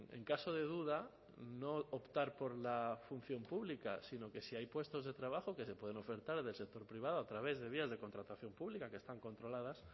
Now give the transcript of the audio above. en caso de duda no optar por la función pública sino que si hay puestos de trabajo que se pueden ofertar desde el sector privado a través de días de contratación pública que están controladas